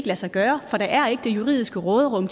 lade sig gøre for der er ikke det juridiske råderum